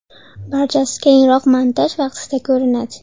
Barchasi keyinroq montaj vaqtida ko‘rinadi”.